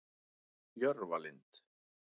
Jörfalind